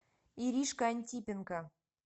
иришка антипенко